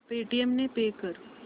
Paytm ने pay कर